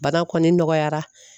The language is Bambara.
Bana kɔni nɔgɔyara